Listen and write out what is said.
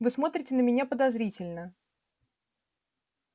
вы смотрите на меня подозрительно